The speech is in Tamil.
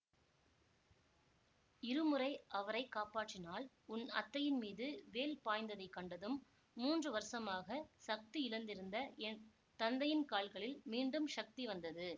இருமுறை அவரை காப்பாற்றினாள் உன் அத்தையின் மீது வேல் பாய்ந்ததைக் கண்டதும் மூன்று வருஷமாகச் சக்தி இழந்திருந்த என் தந்தையின் கால்களில் மீண்டும் சக்தி வந்தது